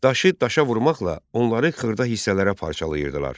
Daşı daşa vurmaqla onları xırda hissələrə parçalayırdılar.